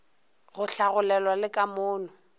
go hlagolelwa le ka mono